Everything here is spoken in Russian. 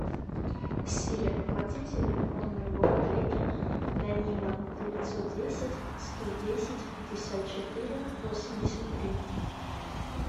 сири оплати телефон моего коллеги данила девятьсот десять сто десять пятьдесят четыре восемьдесят три